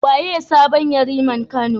Waye sabon Yariman Kano?